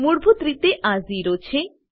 મૂળભૂત રીતે આ ઝીરો છે